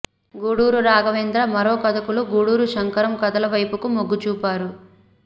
గూడూరి రాఘవేంద్ర మరో కథకులు గూడూరి శంకరం కథల వైపుకు మొగ్గుచూపారు